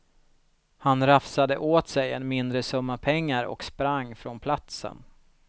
Han rafsade åt sig en mindre summa pengar och sprang från platsen.